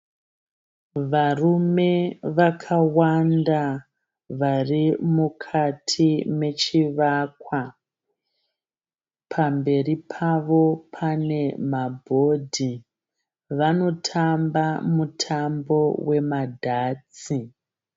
Varume vakawanda vari mukati mechivakwa, pamberi Pavo pane mabhodhi vanotamba mutambo wemadatas.